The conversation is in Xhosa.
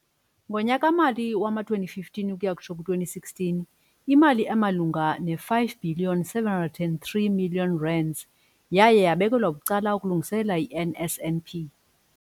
Ngonyaka-mali wama-2015 ukuya kutsho ku2016, imali emalunga ne-five bhiliyoni seven hundred and three millions rands yaye yabekelwa bucala ukulungiselela i-NSNP.